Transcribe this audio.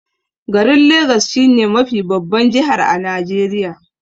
Garin legas shi ne mafi babban jihar a Najeriya.